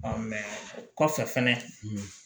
o kɔfɛ fɛnɛ